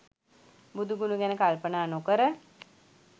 බුදු ගුණ ගැන කල්පනා නොකර